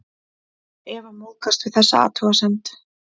Eva móðgast við þessa athugasemd.